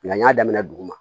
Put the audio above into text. n y'a damina dugu ma